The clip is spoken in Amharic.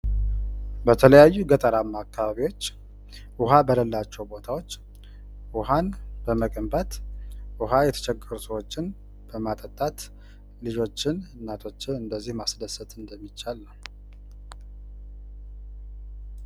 በተለያዩ ገጠርአማ አከባቢአዎች ውሃ በሌላቸው ቦታዎች ውሃ በመገንባት ውሃ የተቸገሩ ሰዎችን በማጠጣት ልጆችን እናቶችን እንደዚህ ማስደሰት እንደሚቻል ነው።